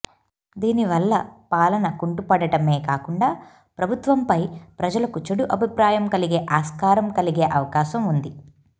దీనివల్ల పాలన కుంటుపడటమే కాకుండా ప్రభుత్వంపై ప్రజలకు చెడు అభిప్రాయం కలిగే ఆస్కారం కలిగే అవకాశం ఉంది